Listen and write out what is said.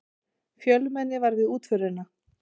Fjölmenni var við útförina